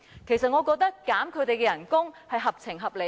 其實我覺得削減他們的薪酬是合情合理的。